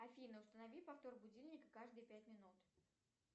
афина установи повтор будильника каждые пять минут